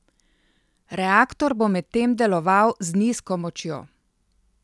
Reaktor bo medtem deloval z nizko močjo.